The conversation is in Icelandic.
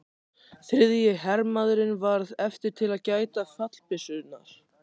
Þriðji hermaðurinn varð eftir til að gæta fallbyssunnar.